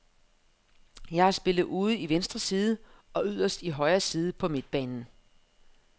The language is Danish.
Jeg har spillet ude i venstre side og yderst i højre side på midtbanen.